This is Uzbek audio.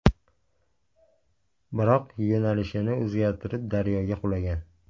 Biroq, yo‘nalishini o‘zgartirib, daryoga qulagan.